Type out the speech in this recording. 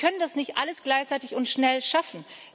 Wir können das nicht alles gleichzeitig und schnell schaffen.